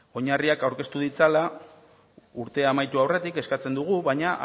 oinarriak aurkeztu ditzala urtea amaitu aurretik eskatzen dugu baina